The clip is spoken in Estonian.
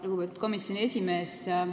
Lugupeetud komisjoni esimees!